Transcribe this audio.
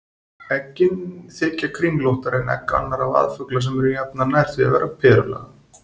Eggin þykja kringlóttari en egg annarra vaðfugla sem eru jafnan nær því að vera perulaga.